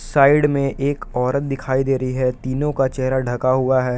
Side में एक औरत दिखाई दे रही है। तीनों का चेहरा ढका हुआ है।